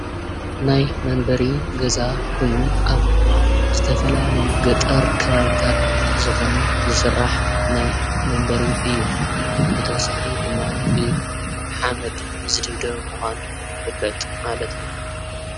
ናይ መንበሪ ገዛ ኮይኑ ኣብ ዝተፈላለዩ ገጠር ከባቢታት ዝኮነ ዝስራሕ ናይ መንበሪ እዩ፡፡ ብተወሳኪ ድማ ብሓመድ ዝድብደብ ምኳኑ ይፍለጥ ማለት እዩ፡፡